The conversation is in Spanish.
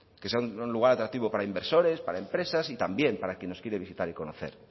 para inversores para empresas y también para quien nos quiere visitar y conocer